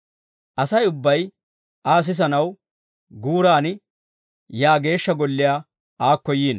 Asay ubbay Aa sisanaw guuran yaa geeshsha golliyaa aakko yiino.